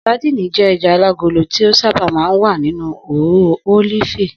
Sadíìnì jé̩ e̩ja alágolo tí ó sábà máa ń wà nínú òróró ólífì